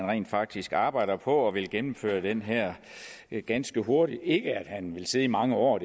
rent faktisk arbejder på at gennemføre det her ganske hurtigt at han vil sidde i mange år